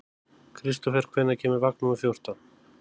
Kristofer, hvenær kemur vagn númer fjórtán?